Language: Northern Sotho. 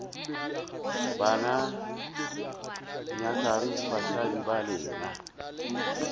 banna nyakang basadi ba lena